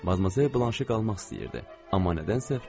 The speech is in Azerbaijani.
Amma nədənsə fikrini dəyişdi.